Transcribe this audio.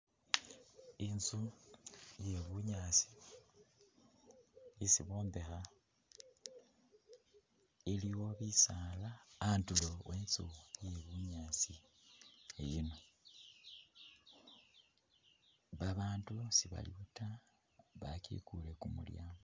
Inzu iye bunyaasi isi bombekha, iliwo bisaala andulu we inzu iye bunyaasi iyino , babandu sebaliwo ta, bakikule kumulyango.